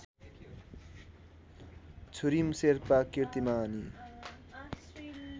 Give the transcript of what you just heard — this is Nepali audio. छुरिम शेर्पा किर्तिमानी